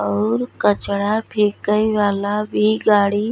और कचड़ा फेके वाला भी गाड़ी --